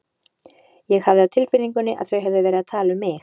Ég hafði á tilfinningunni að þau hefðu verið að tala um mig.